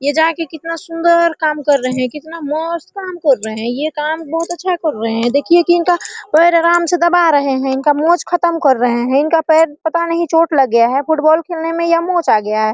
ये जाके कितना सुंदर मस्त काम कर रहे है कितना मस्त काम कर रहे है ये काम अच्छा कर रहे है देखिए की इनका पैर दबा रहे है मोच खत्म कर रहे है इनका पैर पता नहीं चोट लग गया है मोच आ गया है।